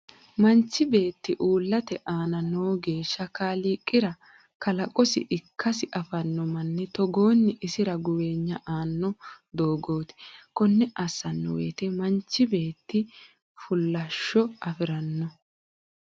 Manchi beeti uulate aana noo géeshsha kaliiqira kalaqosi ikkasi afino Mani togoonni isira guweeyna aano doogoti konne asaano woyiite manchi beeti fuulishsho afirano.